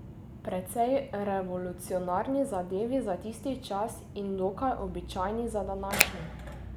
Precej revolucionarni zadevi za tisti čas in dokaj običajni za današnji.